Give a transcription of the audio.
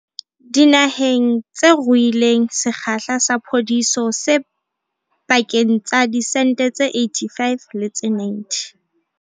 Dinaheng tse ruileng, sekgahla sa phodiso se pakeng tsa diphesente tse 85 le tse 90.